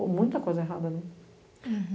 Ou muita coisa errada, né?